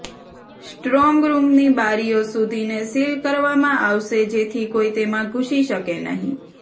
strong રૂમની બારીઓ સુધીને સીલ કરવામાં આવશે જેથી કોઈ તેમાં ઘુસી શકે નહીં